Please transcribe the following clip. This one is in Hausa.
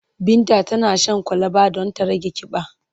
Binta tana shan kwalaba don ta rage ƙiba.